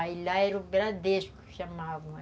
Aí lá era o Bradesco que chamavam.